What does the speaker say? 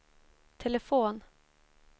telefon